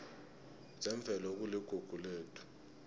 zemvelo kuligugu lethu